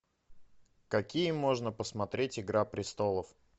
какие можно посмотреть игра престолов